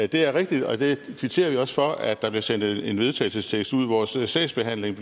det er rigtigt og det kvitterer vi også for at der blev sendt en vedtagelsestekst ud vores sagsbehandling